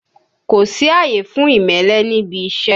Kò sí àyè fún ìmẹ́lẹ́ níbi iṣẹ́!